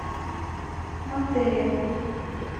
монтерия